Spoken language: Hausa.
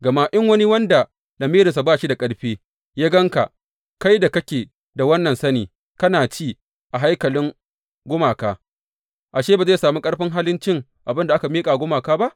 Gama in wani wanda lamirinsa ba shi da ƙarfi ya gan ka, kai da kake da wannan sani, kana ci a haikalin gumaka, ashe, ba zai sami ƙarfin halin cin abin da aka miƙa wa gumaka ba?